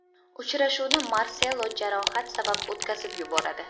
Uchrashuvni Marselo jarohat sabab o‘tkazib yuboradi.